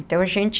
Então a gente